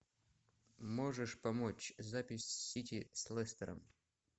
можешь помочь запись сити с лестером